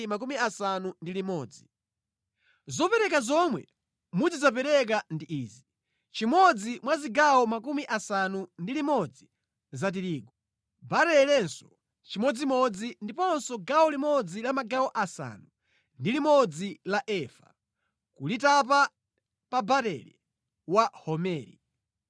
“ ‘Zopereka zomwe mudzidzapereka ndi izi: chimodzi mwa zigawo 60 za tirigu, barelenso chimodzimodzi ndiponso gawo limodzi la magawo asanu ndi limodzi la efa, kulitapa pa barele wa homeri.